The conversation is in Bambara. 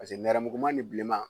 nɛrɛmuguma ni bilenman